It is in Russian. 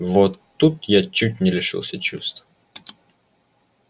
вот тут я чуть не лишился чувств